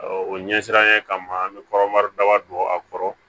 o ɲɛsinnen kama an bɛ kɔrɔmari daba don a kɔrɔ